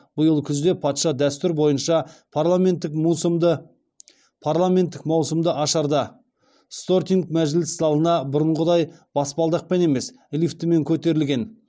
биыл күзде патша дәстүр бойынша парламенттік маусымды ашарда стортинг мәжіліс залына бұрынғыдай баспалдақпен емес лифтімен көтерілген